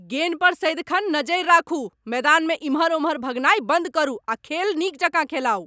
गेन पर सदिखन नजरि राखू! मैदानमे एमहर ओमहर भगनाइ बन्द करू आ खेल नीक जकाँ खेलाउ।